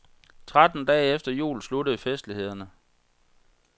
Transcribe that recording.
Tretten dage efter jul sluttede festlighederne.